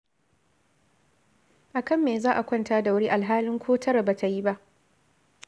A kan me za a kwanta da wuri alhalin ko tara ba ta yi ba?